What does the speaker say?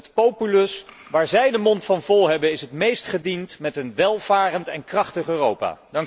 Want het populus waar zij de mond van vol hebben, is het meest gediend met een welvarend en krachtig Europa.